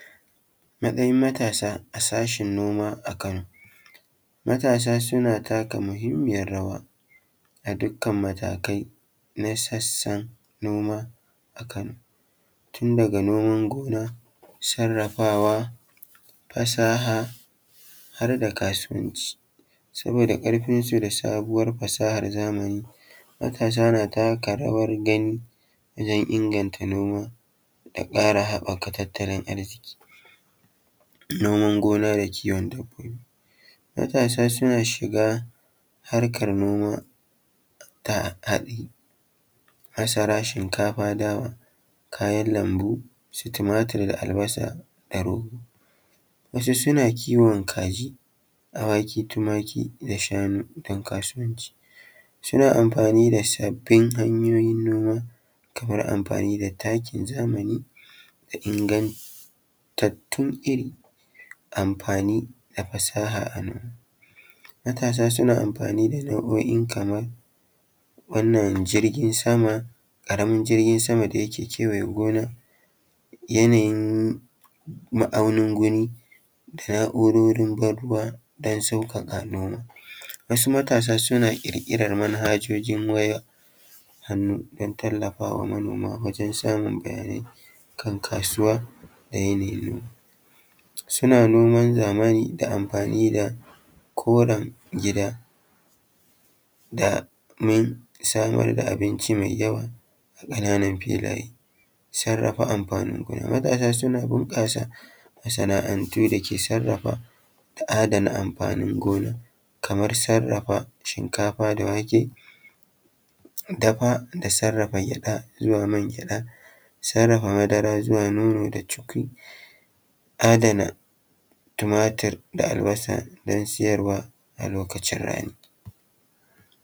Matsayin matasa a sashin noma a kano. Matasa suna taka muhimmiyar rawa a dukkan matakai na sassan noma a kano, tun daga noman gona, sarrafawa, fasaha, har da kasuwanci, saboda ƙarfin su da sabuwar fasahar zamani hakan tana taka rawar gani wajen inganta noma da ƙara haɓaka tattalin arziƙi. Noman gona da kiwon dabbobi: Matasa suna shiga harkar noma ta haɗi, masara, shinkafa, dawa, kayan lambu, su tumatir da albasa, tarugu. Wasu suna kiwon kaji, awaki, tumaki da shanu don kasuwanci. Suna amfani da sabbin hanyoyin noma kamar amfani da takin, zamani ingantattun iri, amfani da fasaha a nan. Matasa suna amfani da nau’o’i kaman wannan jirgin sama, ƙaramin jirgin sama da yake kewaye gona, yanayin ma’aunin guri, da na’urorin ban-ruwa don sauƙaƙa noma. Wasu matasa suna ƙirƙirar manhajoji wayar hannu don tallafawa manoma wajen samun bayanai kan kasuwa da yanayin noma. Suna noman zamani da amfani da koren gida domin samar da abinci mai yawa a ƙananan filaye. Sarrafa amfani gona, matasa suna bunƙasa masana’antu da ke sarrafa adana amfanin gona kamar sarrafa shinkafa da wake dafa da sarrafa gyaɗa zuwa mangyaɗa, sarrafa madara zuwa nono da chukwi, adana tumatur da albasa don siyarwa lokacin rani.